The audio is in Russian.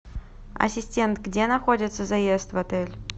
ассистент где находится заезд в отель